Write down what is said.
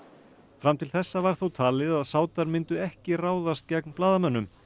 fram til þessa var þó talið að Sádar myndu ekki ráðast gegn blaðamönnum